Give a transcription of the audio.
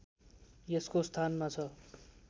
यसको स्थानमा छ